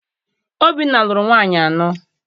Obinna lụrụ nwaanyị anọ.